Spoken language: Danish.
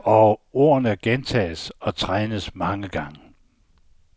Og ordene gentages og trænes mange gange.